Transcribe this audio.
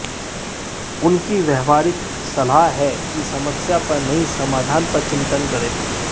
उनकी व्यावहारिक सलाह है कि समस्या पर नहीं समाधान पर चिंतन करें